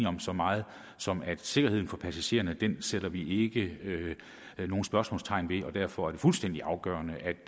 om så meget som at sikkerheden for passagererne sætter vi ikke nogen spørgsmålstegn ved og derfor er det fuldstændig afgørende